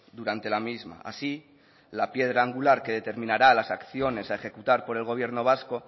durante la misma así la piedra angular que determinará las acciones a ejecutar por el gobierno vasco